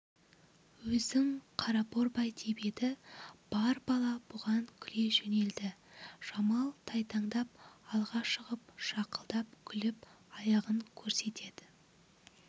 өзің қара борбай деп еді бар бала бұған күле жөнелді жамал тайтандап алға шығып шақылдап күліп аяғын көрсетеді